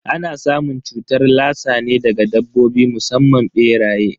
Ana samun cutar lassa ne daga dabbobi musamman beraye.